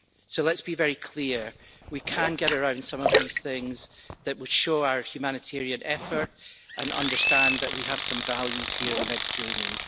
So let's be very clear we can get around some of these things that would show our humanitarian effort and understand that we have some values here in the Mediterranean.